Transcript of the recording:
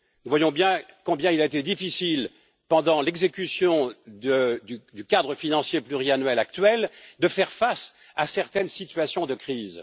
Nous voyons combien il a été difficile, pendant l'exécution du cadre financier pluriannuel actuel, de faire face à certaines situations de crise.